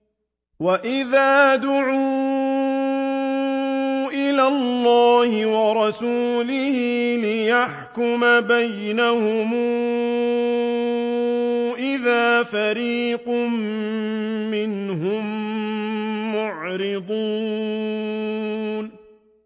وَإِذَا دُعُوا إِلَى اللَّهِ وَرَسُولِهِ لِيَحْكُمَ بَيْنَهُمْ إِذَا فَرِيقٌ مِّنْهُم مُّعْرِضُونَ